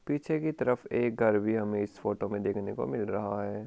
पीछे की तरफ एक घर भी हमें इस फोटो में देखने को मिल रहा है।